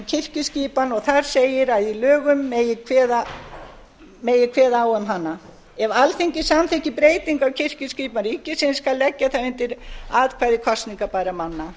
kirkjuskipan og þar segir að í lögum megi kveða á um hana ef alþingi samþykkir breytingu á kirkjuskipan ríkisins skal leggja það undir atkvæði kosningabærra manna